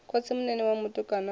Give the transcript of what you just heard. khotsimunene wa mutukana a no